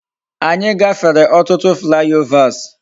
Anyi gafere otutu fly overs